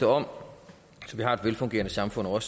om så vi har et velfungerende samfund og